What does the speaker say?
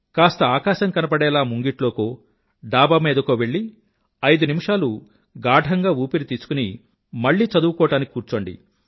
కాస్త ఆకాశం కనబడేలా ముంగిట్లోకో డాబా మీదకో వెళ్ళి ఐదు నిమిషాలు గాఢంగా ఊపిరి తీసుకుని మళ్ళీ చదువుకోవడానికి కూర్చోండి